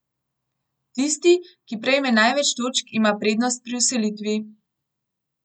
Tisti, ki prejme največ točk, ima prednost pri vselitvi.